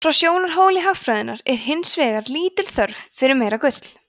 frá sjónarhóli hagfræðinnar er hins vegar lítil þörf fyrir meira gull